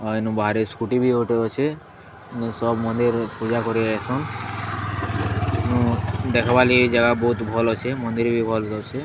ଆ ଏନୁ ବାହାରେ ସ୍କୁଟି ବି ଗୋଟେ ଅଛେ। ସବ୍ ମନ୍ଦିର୍ ପୂଜାକରି ଆଏଛନ୍। ଦେଖିବାଲାଗି ଜାଗା ବୋହୁତ୍ ଭଲ ଅଛେ। ମନ୍ଦିର ବି ଭଲ୍ ଦେଖାହୋଉଛେ।